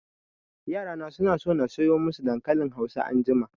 Yara na suna so na soya masu dankalin hausa anjima